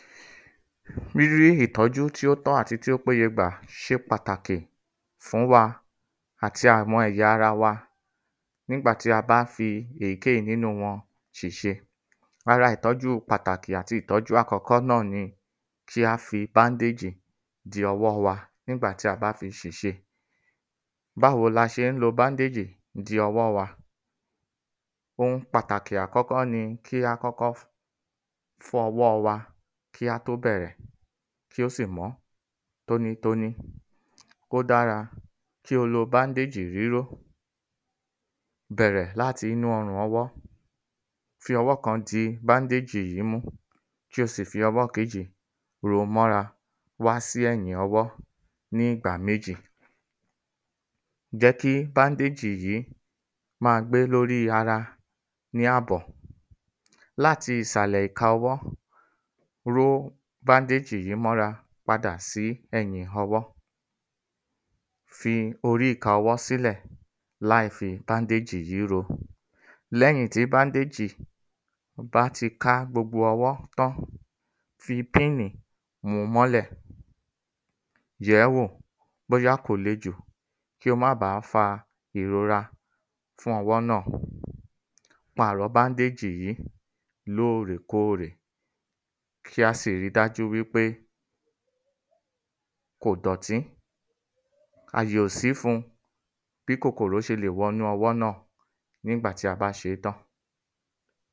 ﻿Bí í ìtọ́jú tí ó tọ́ àti tí ó pé ye gbà ṣe pàtàkì fún wa àti àwọn ẹ̀ya ara wa nígbà tí a bá fí èyíkéyí nínú wọn ṣèṣe. Ara ìtọ́jú pàtàkì àti ìtọ́jú àkọ́kọ́ náà ni kí a fi báńdéèjì de ọwọ́ wa nígbà tí a bá fi ṣèṣe. Báwo ni a ṣé ń lo báńdéèjì de ọwọ́ wa? Ohun pàtàkì àkọ́kọ́ ni kí á kọ́kọ́ fọ ọwọ́ wa kí á tó bẹ̀rẹ̀ kí ó sì mọ́ tóní-n-tóní. Ó dára kí o lo báńdéèjì ríró. Bẹ̀rẹ̀ láti inú ọrùn ọwọ́. Fi ọwọ́ kan di báńdéèjì yí mú kí ó sì ọwọ́ kejì ro mọ́ra wá sí ẹ̀yìn ọwọ́ ní ìgbà méjì. Jẹ́ kí báńdéèjì má a gbé lórí ara ni àbọ̀. Láti ìsàlẹ̀ ẹ̀ka ọwọ́, ró báńdéèjì yí mọ́ ra padà sí ẹ̀yìn ọwọ́. Fi orí ìka ọwọ́ sílẹ̀ láìfi báńdéèjì yí ro. Lẹ́yìn tí báńdéèjì bá ti ká gbogbo ọwọ́ tán, fi píìnú mu mọ́lẹ̀. Yẹ̀ẹ́ wò bóyá kò le jù kí ó ma ba fa ìrora fún ọwọ́ náà. Pàrọ báńdéèjì yí lóòrèkóòrè. Kí a sì ri dájú wí pé kò dọ̀tí. Àyè ò sí fun bí kòkòro ṣe lè wọnú ọwọ́ náà ní ìgbà tí a bá ṣe é tán.